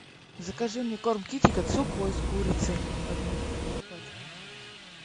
закажи мне корм китекет сухой с курицей одну пачку